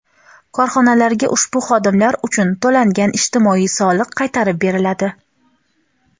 korxonalarga ushbu xodimlar uchun to‘langan ijtimoiy soliq qaytarib beriladi.